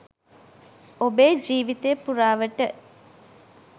ඔබේ ජීවිතය පුරාවට